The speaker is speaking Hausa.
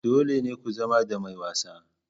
Dole ne ku zama ɗan mai wasa.